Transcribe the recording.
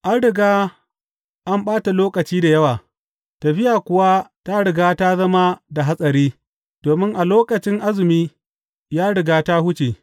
An riga an ɓata lokaci da yawa, tafiya kuwa ta riga ta zama da hatsari domin a lokacin Azumi ya riga ta wuce.